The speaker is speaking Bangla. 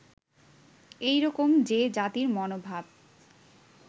এই রকম যে জাতির মনভাব